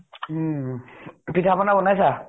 উম । পিঠা পনা বনাইছা ?